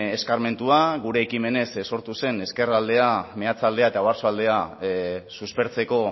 eskarmentua gure ekimenez sortu zen ezkerraldea meatzaldea eta oarsoaldea suspertzeko